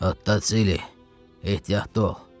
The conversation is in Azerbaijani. Ottosili, ehtiyatlı ol.